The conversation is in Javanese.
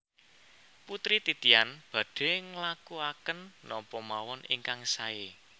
Putri Titian badhe nglakuaken napa mawon ingkang sae